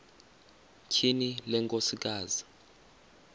tyhini le nkosikazi